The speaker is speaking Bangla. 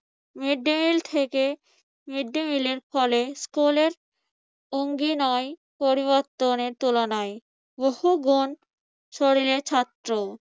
মিদ্দিমিল থেকে মিদ্দিমিলের ফলে স্কুলের অঙ্গিনায় পরিবর্তনের তুলনায় বহুগণ শরীরে ছাত্র।